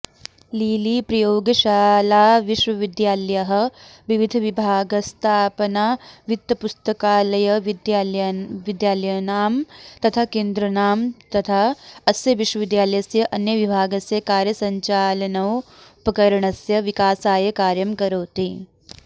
लीलीप्रयोगशालाविश्वविद्यालयः विविधविभागस्तापनावित्तपुस्तकालयविद्यालयनां तथा केन्द्रनां तथा अस्य विश्वविद्यालयस्य अन्यविभागस्य कार्यसञ्चालनोपकरणस्य विकासाय कार्यं करोति